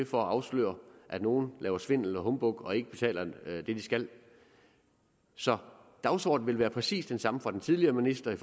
for at afsløre at nogle laver svindel og humbug og ikke betaler det de skal så dagsordenen ville være præcis den samme fra den tidligere minister